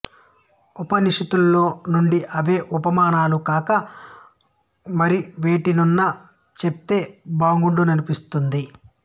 ఉపనిషత్తులలో నుండి అవే ఉపమానాలు కాక మరివేటినన్నా చెప్తే బాగుండుననిపిస్తుంది